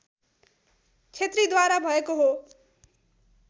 छेत्रीद्वारा भएको हो